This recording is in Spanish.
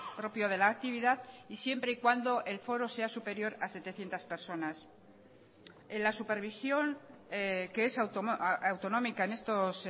propio de la actividad y siempre y cuando el foro sea superior a setecientos personas en la supervisión que es autonómica en estos